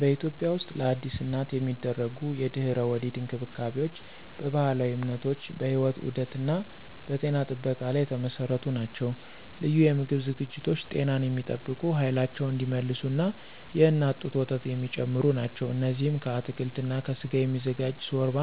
በኢትዮጵያ ውስጥለአዲስ እናት የሚደረጉ የድህረ-ወሊድ እንክብካቤዎች በባህላዊ እምነቶች፣ በሕይወት ዑደት እና በጤና ጥበቃ ላይ የተመሰረቱ ናቸው። ልዩ የምግብ ዝግጅቶች ጤናን የሚጠብቁ፣ ኃይላቸውን እንዲመልሱ እና የእናት ጡት ወተት የሚጨምሩ ናቸው። እነዚህም ከአትክልት እና ከስጋ የሚዘጋጅ ሾርባ፣